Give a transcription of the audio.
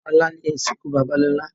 Ọ̀la ni ìsìnkú bàbá Lolá